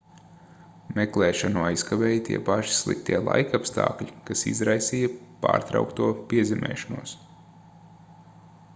meklēšanu aizkavēja tie paši sliktie laikapstākļi kas izraisīja pārtraukto piezemēšanos